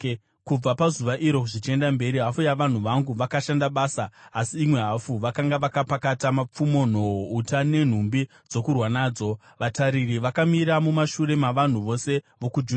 Kubva pazuva iro, zvichienda mberi hafu yavanhu vangu vakashanda basa, asi imwe hafu vakanga vakapakata mapfumo, nhoo, uta nenhumbi dzokurwa nadzo. Vatariri vakamira mumashure mavanhu vose vokwaJudha,